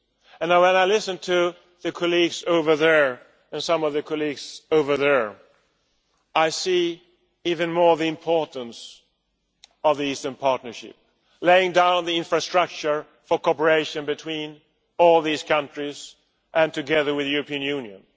And when I listen to the colleagues over there, and some of the colleagues over there, I see even more the importance of the Eastern Partnership, laying down the infrastructure for cooperation between all these countries and together with the European Union